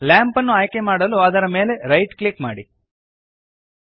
lamp ಅನ್ನು ಆಯ್ಕೆಮಾಡಲು ಅದರ ಮೇಲೆ ರೈಟ್ ಕ್ಲಿಕ್ ಮಾಡಿರಿ